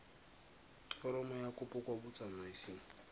foromo ya kopo kwa botsamaising